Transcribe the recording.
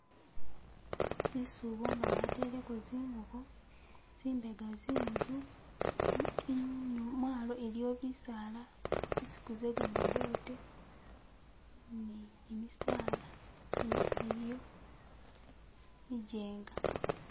Bisuubo nga bateleko zingubo, tsimbega tsinzu, imwalo iliyo bisaala zinsuku ze gamadote ni gimisaala ino iliyo bijeenga.